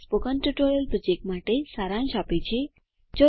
તે spoken tutorial project માટે સારાંશ આપે છે